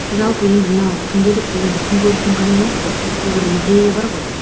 жалпы енді мына күнделік бұл енді күн көрістің қамы емес қой мұнда да бір идея бар ғой